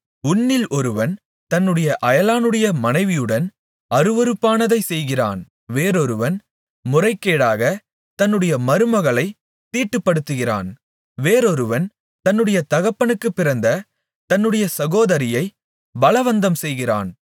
உன்னில் ஒருவன் தன்னுடைய அயலானுடைய மனைவியுடன் அருவருப்பானதைச் செய்கிறான் வேறொருவன் முறைகேடாகத் தன்னுடைய மருமகளைத் தீட்டுப்படுத்துகிறான் வேறொருவன் தன்னுடைய தகப்பனுக்குப் பிறந்த தன்னுடைய சகோதரியைப் பலவந்தம்செய்கிறான்